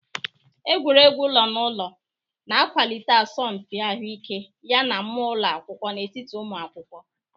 Egwuregwu ụlọ naụlọ na-akwalite asọmpi ahụike yana mmụọ ụlọ akwụkwọ n'etiti ụmụ akwụkwọ.